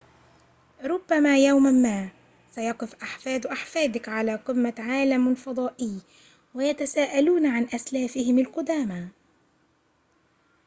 ربما يوماً ما سيقف أحفاد أحفادك على قمة عالم فضائي ويتساءلون عن أسلافهم القدامى